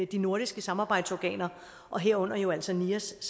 de nordiske samarbejdsorganer og herunder jo altså nias